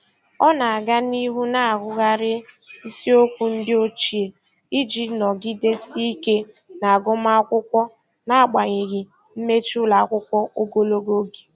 Ọ na-aga n'ihu na-agụgharị isiokwu ndị ochie iji nọgidesie ike n'agụmamwkụkwọ n'agbanyeghị mmechi ụlọakwụkwọ ogologo oge.